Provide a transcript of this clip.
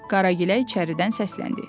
Qaragilə içəridən səsləndi.